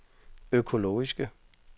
økologiske